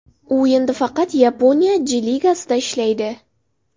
U endi faqat Yaponiya J-ligasida ishlaydi.